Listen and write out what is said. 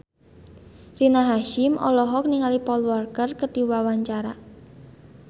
Rina Hasyim olohok ningali Paul Walker keur diwawancara